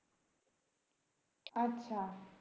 আচ্ছা